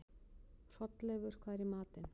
Hrolleifur, hvað er í matinn?